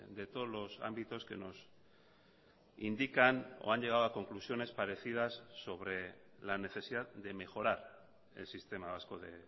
de todos los ámbitos que nos indican o han llegado a conclusiones parecidas sobre la necesidad de mejorar el sistema vasco de